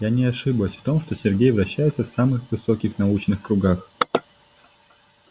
я не ошиблась в том что сергей вращается в самых высоких научных кругах